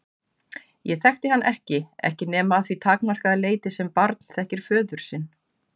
Ég þekkti hann ekki ekki nema að því takmarkaða leyti sem barn þekkir föður sinn.